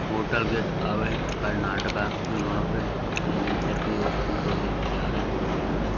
Hotel gateway Karnataka. यहां पे ऊं ऊपर की ओर दो व्यक्ति जा रहे हैं। सीढ़ियां हैं।